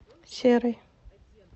серый